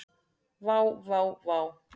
Vá vá vá.